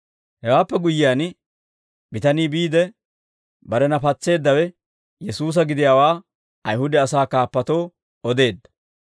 Hewaappe guyyiyaan, bitanii biide, barena patseeddawe Yesuusa gidiyaawaa Ayihuda asaa kaappatoo odeedda.